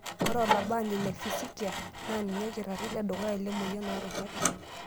Ore olabaani le fisikia na ninye olkitarri ledukuya lemoyian oorubat.